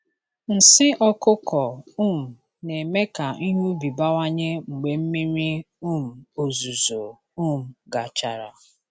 Nsị ọkụkọ um na-eme ka ihe ubi bawanye mgbe mmiri um ozuzo um gachara.